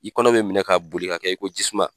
I kɔnɔ be minɛ ka boli ka kɛ i ko jisuman.